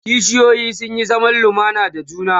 kishiyoyi sun Yi zaman lumana da juna